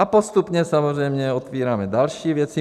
A postupně samozřejmě otevíráme další věci.